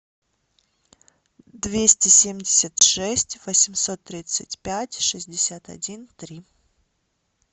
двести семьдесят шесть восемьсот тридцать пять шестьдесят один три